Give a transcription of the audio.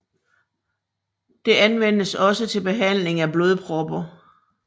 Det anvendes også til behandling af blodpropper